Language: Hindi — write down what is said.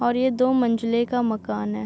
और ये दो मंजिले का मकान है।